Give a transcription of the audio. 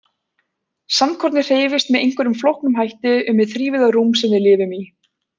Sandkornið hreyfist með einhverjum flóknum hætti um hið þrívíða rúm sem við lifum í.